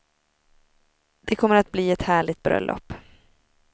Det kommer att bli ett härligt bröllop.